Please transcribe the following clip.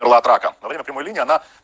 была драка во время прямой линии она